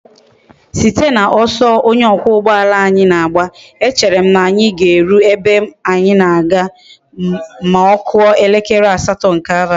Site na oso onye okwa ugboala na agba,e chere m na anyi ga eru ebe anyi na aga ma okuo elekere asato nke abali